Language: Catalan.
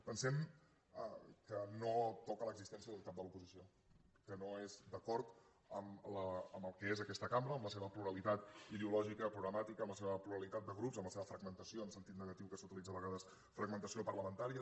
pensem que no toca l’existència d’un cap de l’oposició que no és d’acord amb el que és aquesta cambra amb la seva pluralitat ideològica programàtica amb la seva pluralitat de grups amb la seva fragmentació en sentit negatiu que s’utilitza a vegades parlamentària